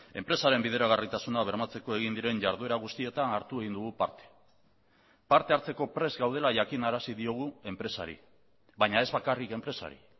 enpresaren bideragarritasuna bermatzeko egin diren jarduera guztietan hartu egin dugu parte parte hartzeko prest gaudela jakinarazi diogu enpresari baina ez bakarrik enpresari